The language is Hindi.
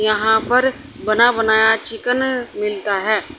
यहां पर बना बनाया चिकन मिलता है।